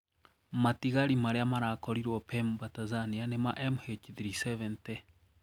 Matigari maria marakorirwo Pemba, Tanzania ni ma MH370.